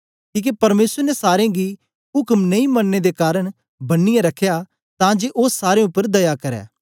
किके परमेसर ने सारे गी उक्म नेई मनने दे कारन बन्नीयै रखया तां जे ओ सारें उपर दया करै